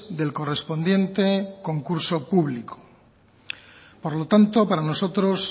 del correspondiente concurso público por lo tanto para nosotros